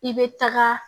I bɛ taga